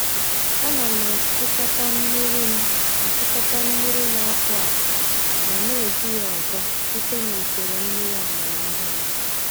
A na m achịkọta mmiri m achịkọta mmiri na-apụ apụ ma na-eji ya ọzọ site na usoro mmiri amamihe m.